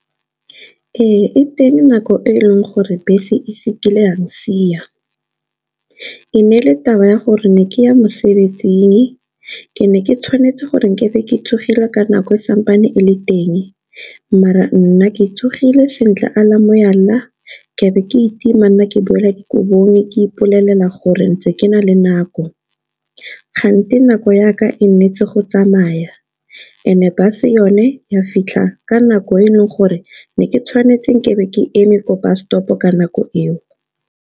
Ee, e teng nako e e leng gore bese ise kile ya tshia. E ne e le taba ya gore ne ke ya mosebetsing, ke ne ke tshwanetse gore ke be ke tsogile, ka nako e sa ntse e le teng, mara nna ke tsogile sentle ala mogala ke be ke itima nna ke boela dokobong, ke ipolelela gore ntse ke na le nako. Kante nako yaka e nnetse go tsamaya, and-e bus-e yone, ya fitlha ka nako e e leng gore ne ke tshwanetse ke be ke eme ko bus stop-o ka nako eo.